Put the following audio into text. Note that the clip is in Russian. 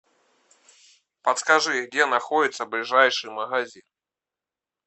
подскажи где находится ближайший магазин